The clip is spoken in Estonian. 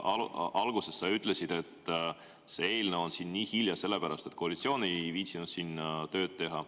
Alguses sa ütlesid, et see eelnõu on siin nii hilja sellepärast, et koalitsioon ei viitsinud tööd teha.